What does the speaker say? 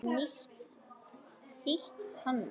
Þýtt þannig